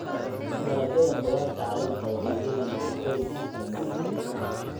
Dalagyada khudaarta caleenta waxay leeyihiin nafaqooyin ku filan jirka.